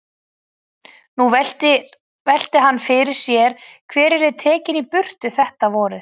Nú velti hann því fyrir sér hver yrði tekinn í burtu þetta vorið.